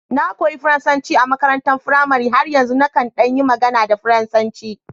Na koyi Faransanci a makarantar firamare, har yanzu nakan ɗan yi magana da Faransanci